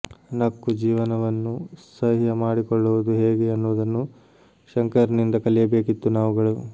ನಕ್ಕು ಜೀವನವನ್ನು ಸಹ್ಯ ಮಾಡಿಕೊಳ್ಳುವುದು ಹೇಗೆ ಅನ್ನುವುದನ್ನು ಶಂಕರ್ನಿಂದ ಕಲಿಯಬೇಕಿತ್ತು ನಾವುಗಳು